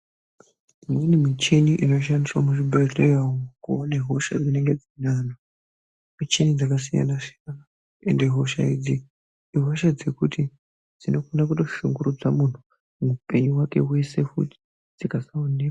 Imweni muchini inoshandiswa muzvibhehlera umu kuwona hosha dzinenge dzinenge antu. Michini dzakasiyana siyana ,ende hosha idzi ,ihosha idzi ihosha dzekuti dzinogona kutoshungurudza munhu hupenyu hwake hwese futi dzikasawoneka.